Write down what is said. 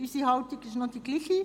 Unsere Haltung ist noch dieselbe.